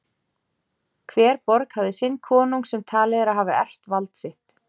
Hver borg hafði sinn konung sem talið er að hafi erft vald sitt.